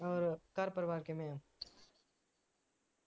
ਹੋਰ ਘਰ ਪਰਿਵਾਰ ਕਿਵੇਂ ਆ